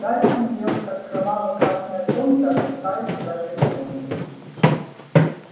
гарри смотрел как кроваво-красное солнце опускается за горизонт